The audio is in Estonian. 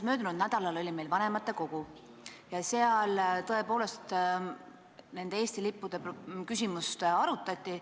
Möödunud nädalal oli meil vanematekogu koosolek ja seal tõepoolest nende lippude küsimust arutati.